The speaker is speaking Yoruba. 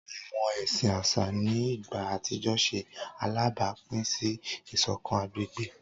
Awọn ẹsin aṣa ni igba atijọ ṣe alabapin si isokan agbegbe.